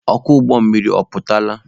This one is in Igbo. Ọkwọ ụgbọ mmiri ọ pụtala?